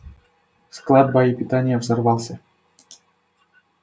склад боепитания взорвался